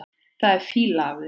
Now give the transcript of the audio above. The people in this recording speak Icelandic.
Það er fýla af þér.